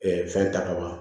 fɛn ta ka